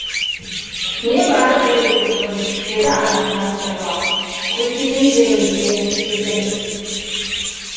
небары бір екі күн деді анасына сыбырлап көздеген жерімізге жетеміз